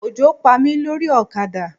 Òjò Pa mí lórí ọ̀kadà.